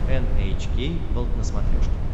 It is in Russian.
эн эйч кей волд на смотрешке